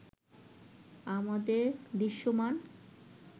আমাদের দৃশ্যমান